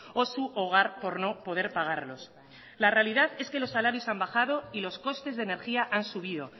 o su hogar por no poder pagarlos la realidad es que los salarios han bajado y los costes de energía han subido